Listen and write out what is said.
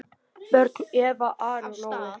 Börn: Eva, Ari og Nói.